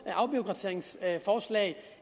afbureaukratiseringsforslag